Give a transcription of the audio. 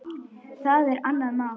Það er annað mál.